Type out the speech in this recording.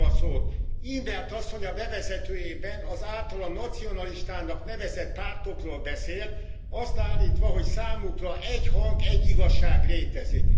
In't Veld asszony a bevezetőjében az általa nacionalistának nevezett pártokról beszélt, azt állítva, hogy számukra egy hang, egy igazság létezik.